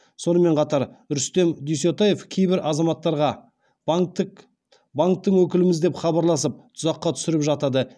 сонымен қатар рүстем дүйсетаев кейбір азаматтарға банктің өкіліміз деп хабарласып тұзаққа түсіріп жатады